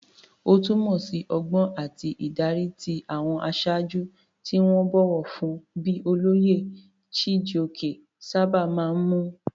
Ó túmọ̀ sí ọgbọ́n àti ìdarí, tí àwọn aṣáájú tí wọ́n bọ̀wọ̀ fún bíi olóyè Chijioke sábà máa ń mú.